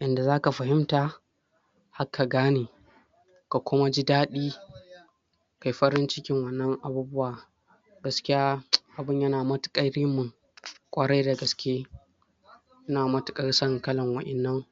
yanda zaka fahimta har ka gane ka kuma ji dadi kayi farin cikin wannan abubuwa gaskiya abun yana matukar ]?] kwarai da gaskiye ina matukar son kalan wadanan